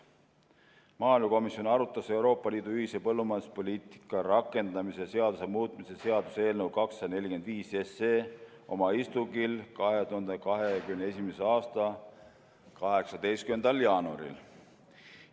Maaelukomisjon arutas Euroopa Liidu ühise põllumajanduspoliitika rakendamise seaduse muutmise seaduse eelnõu 245 oma istungil 2021. aasta 18. jaanuaril.